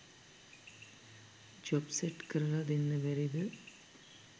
ජොබක් set කරලා දෙන්න බැරිද ?